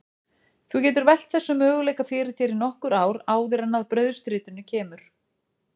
Þú getur velt þessum möguleika fyrir þér í nokkur ár áður en að brauðstritinu kemur.